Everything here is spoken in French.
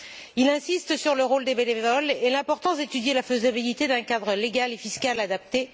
Il insiste sur le rôle des bénévoles et sur l'importance d'étudier la faisabilité d'un cadre légal et fiscal adapté.